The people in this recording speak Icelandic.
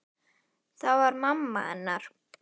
Það var mamma hennar.